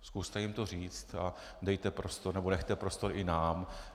Zkuste jim to říci a dejte prostor nebo nechte prostor i nám.